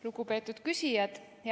Lugupeetud küsijad!